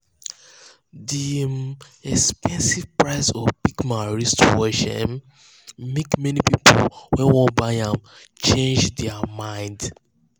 the um expensive price of the big-man wristwatch um make many people wey wan buy am change am change their um mind.